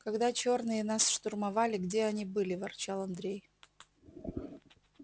когда чёрные нас штурмовали где они были ворчал андрей